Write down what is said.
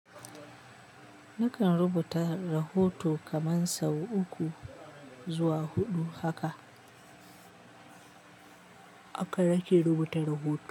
Nakan rubuta rahoto kaman sau uku zuwa huɗu haka. Haka nake rubuta rahoto.